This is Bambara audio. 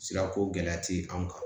Sira ko gɛlɛya ti anw kan